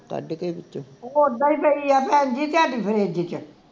ਉਹ ਉੱਦਾਂ ਈ ਪਈ ਆ ਭੈਣ ਜੀ ਤੁਹਾਡੀ ਫਰਿਜ ਵਿਚ